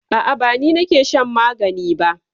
A'a ba ni ne nake shan magani ba.